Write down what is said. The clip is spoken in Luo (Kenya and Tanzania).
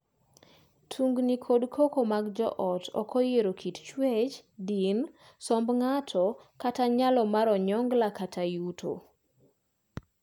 Tungni kod koko mag joot ok oyiero kit chuech, din, somb ng’ato, kata nyalo mar onyongla (yuto).